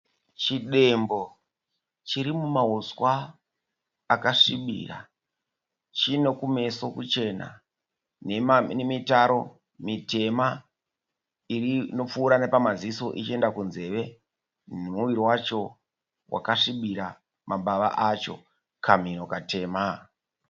Chidembo chiri mumahuswa akasvibira. Chino kumeso kuchena nemitaro mitema inopfuura nepamaziso ichienda kunzeve nomuviri wacho wakasvibira mambava acho. Kamhino katema.